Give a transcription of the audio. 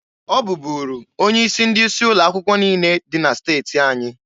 Ọ bubulu onye isi ndị isi ụlọ akwụkwọ niine dị na steti anyị.